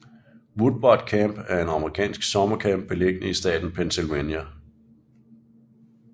Woodward Camp er en amerikansk summercamp beliggende i staten Pennsylvania